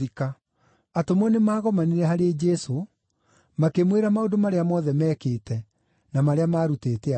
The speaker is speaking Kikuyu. Atũmwo nĩmagomanire harĩ Jesũ, makĩmwĩra maũndũ marĩa mothe meekĩte, na marĩa maarutĩte andũ.